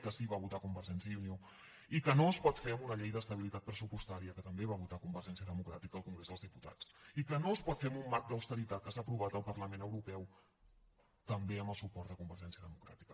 que sí que va votar convergència i unió i que no es pot fer amb una llei d’estabilitat pressupostària que també va votar convergència democràtica al congrés dels diputats i que no es pot fer amb un marc d’austeritat que s’ha aprovat al parlament europeu també amb el suport de convergència democràtica